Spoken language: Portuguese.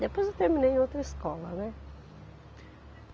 Depois eu terminei em outra escola, né.